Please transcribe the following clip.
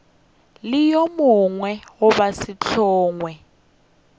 le yo mongwe goba sehlongwa